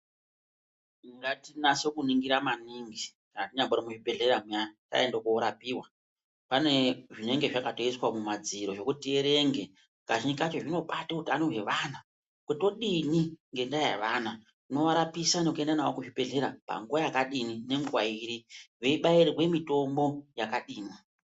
Ngatinase kuningira maningi kana taenda kuchibhehlera muyana taenda korapiwa, pane zvinenge zvakaiswa mumadziro zvekuti tierenge kazhinji kacho zvinobata utano hwevana ,kuti todini ngevana, tinovarapisa nekuenda navo kuchibhehlera nguwa yakadini nenguwa iri ,veibairwa mitombo yakadini.